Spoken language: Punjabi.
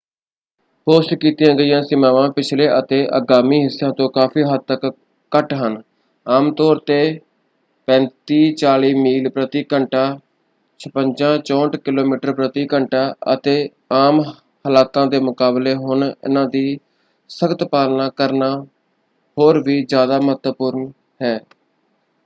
ਪੋਸਟ ਕੀਤੀਆਂ ਗਤੀ ਸੀਮਾਵਾਂ ਪਿਛਲੇ ਅਤੇ ਆਗਾਮੀ ਹਿੱਸਿਆਂ ਤੋਂ ਕਾਫ਼ੀ ਹੱਦ ਤੱਕ ਘੱਟ ਹਨ — ਆਮ ਤੌਰ ‘ਤੇ 35-40 ਮੀਲ ਪ੍ਰਤੀ ਘੰਟਾ 56-64 ਕਿਲੋਮੀਟਰ ਪ੍ਰਤੀ ਘੰਟਾ — ਅਤੇ ਆਮ ਹਾਲਾਤਾਂ ਦੇ ਮੁਕਾਬਲੇ ਹੁਣ ਇਨ੍ਹਾਂ ਦੀ ਸਖ਼ਤ ਪਾਲਣਾ ਕਰਨਾ ਹੋਰ ਵੀ ਜ਼ਿਆਦਾ ਮਹੱਤਵਪੂਰਨ ਹੈੈ।